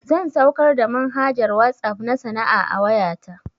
Zan saukar da manhajar WhatsApp na sana'a a wayata